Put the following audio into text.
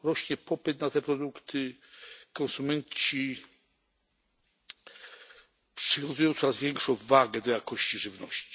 Rośnie popyt na te produkty, konsumenci przywiązują coraz większą wagę do jakości żywności.